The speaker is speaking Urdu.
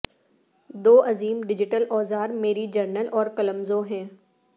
دو عظیم ڈیجیٹل اوزار میری جرنل اور قلمزو ہیں